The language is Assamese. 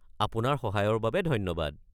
আপোনাৰ সহায়ৰ বাবে ধন্যবাদ।